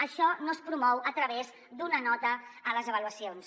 això no es promou a través d’una nota a les avaluacions